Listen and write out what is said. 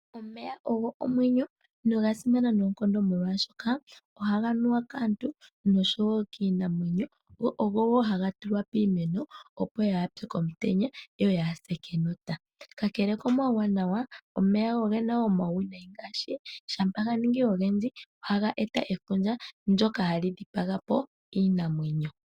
Omeya ogo omwenyo noga simana noonkondo molwashoka ohaga nuwa kaantu noshowo kiinamwenyo, go ogowo haga tulwa piimeno, opo ya pye komutenya yoyaya se kenota. Ka kele komauwanawa, omeya oge na wo omauwinayi ngaashi shampa ga ningi ogendji ohaga eta efundja ndyoka hali dhipaga po iinamwenyo.